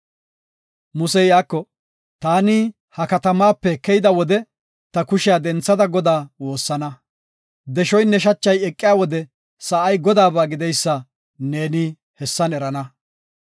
Musey iyako, “Taani ha katamaape keyida wode ta kushiya denthada Godaa woossana. Deshoynne shachay eqiya wode sa7ay Godaaba gideysa neeni hessan erana.